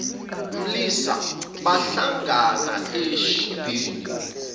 mlisa bahlangana eshibhini